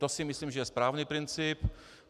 To si myslím, že je správný princip.